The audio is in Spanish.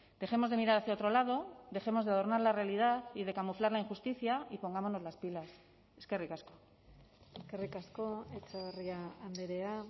dejemos de mirar hacia otro lado dejemos de adornar la realidad y de camuflar la injusticia y pongámonos las pilas eskerrik asko eskerrik asko etxebarria andrea